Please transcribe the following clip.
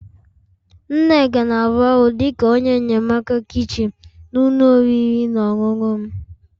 Nneka na-arụ ọrụ dị ka onye enyemaka kichin na ụlọ oriri na ọṅụṅụ m